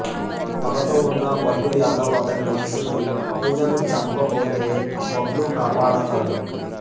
పగతో ఉన్న భల్లూ యదవ్ అతని మనుషులు పూజను చంపబోతే బబ్లూ కాపాడతాడు